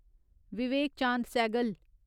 Vivek Chand Sehgal